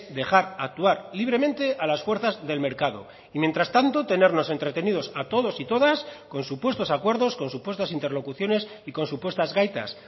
dejar actuar libremente a las fuerzas del mercado y mientras tanto tenernos entretenidos a todos y todas con supuestos acuerdos con supuestas interlocuciones y con supuestas gaitas